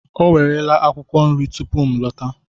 O werela akwụkwọ nri tupu m lọta.